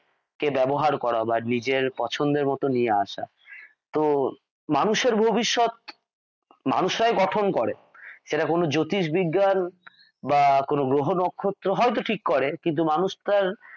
কে ব্যবহার করা বা নিজের পছন্দমত নিয়ে আসা তো মানুষের ভবিষ্যৎ মানুষরাই গঠন করে সেটা কোনো জ্যোতিষবিজ্ঞান বা কোনো গ্রহ নক্ষত্র হয়ত ঠিক করে কিন্তু মানুষ তার